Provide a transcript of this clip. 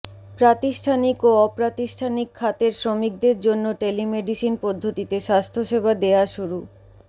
প্রাতিষ্ঠানিক ও অপ্রাতিষ্ঠানিক খাতের শ্রমিকদের জন্য টেলিমেডিসিন পদ্ধতিতে স্বাস্থ্যসেবা দেয়া শুরু